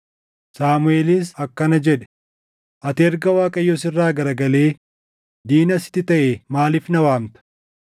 Saamuʼeelis akkana jedhe; “Ati erga Waaqayyo sirraa garagalee diina sitti taʼee maaliif na waamta?